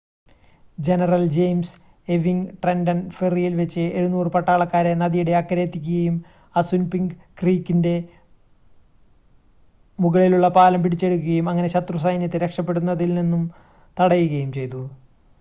general James Ewing Trenton ഫെറിയിൽ വെച്ച് 700 പട്ടാളക്കാരെ നദിയുടെ അക്കരെ എത്തിക്കുകയും അസുൻപിങ്ക് ക്രീക്കിൻറ്റെ മുകളിലുള്ള പാലം പിടിച്ചെടുക്കുകയും അങ്ങനെ ശത്രു സൈന്യത്തെ രക്ഷപ്പെടുന്നതിൽ നിന്നും തടയുകയും ചെയ്യുന്നു